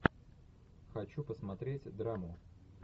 хочу посмотреть драму